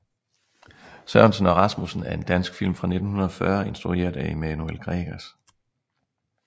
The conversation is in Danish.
Sørensen og Rasmussen er en dansk film fra 1940 instrueret af Emanuel Gregers